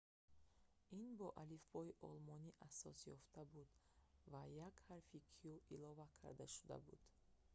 ин бо алифбои олмонӣ асос ёфта буд ва як ҳарфи õ/õ илова карда шуда буд